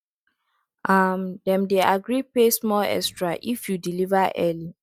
um dem dey agree pay small extra if you deliver early